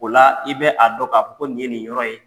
O la i bɛ a dɔn ka fɔ ko nin ye nin yɔrɔ ye.